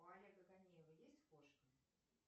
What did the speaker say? у олега конеева есть кошка